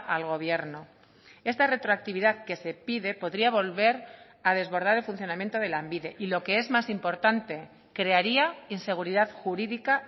al gobierno esta retroactividad que se pide podría volver a desbordar el funcionamiento de lanbide y lo que es más importante crearía inseguridad jurídica